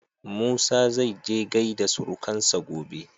Musa zaije gaida surukansa gobe.